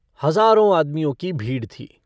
हजारो आदमियों की भीड़ थी।